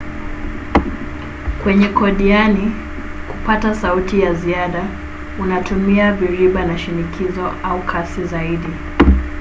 kwenye kodiani kupata sauti ya ziada unatumia viriba na shinikizo au kasi zaidi